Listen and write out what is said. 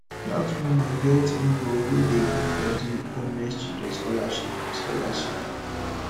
dat woman get ngo wey dey give plenty homeless children scholarship scholarship